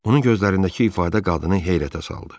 Onun gözlərindəki ifadə qadını heyrətə saldı.